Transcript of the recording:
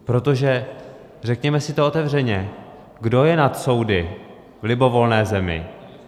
Protože řekněme si to otevřeně, kdo je nad soudy v libovolné zemi?